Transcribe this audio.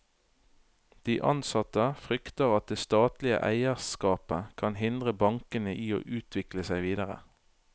De ansatte frykter at det statlige eierskapet kan hindre bankene i å utvikle seg videre.